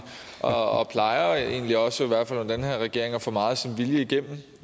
og plejer egentlig også under den her regering at få meget af sin vilje igennem